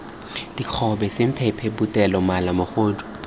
dikgobe semphemphe potele mala mogodu